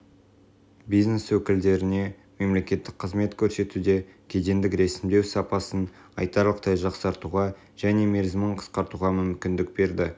бизнес өкілдеріне мемлекеттік қызмет көрсетуде кедендік ресімдеу сапасын айтарлықтай жақсартуға және мерзімін қысқартуға мүмкіндік берді